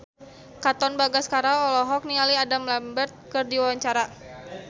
Katon Bagaskara olohok ningali Adam Lambert keur diwawancara